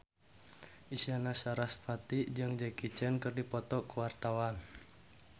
Isyana Sarasvati jeung Jackie Chan keur dipoto ku wartawan